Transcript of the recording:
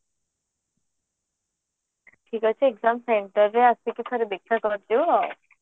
ଠିକ ଅଛି exam center ରେ ଆସିକି ଥରେ ଦେଖା କରିବୁ ଆଉ